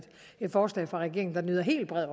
et forslag fra regeringen der nyder helt bred